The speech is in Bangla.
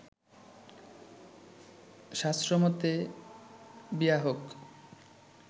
শাস্ত্রমতে বিয়া হোক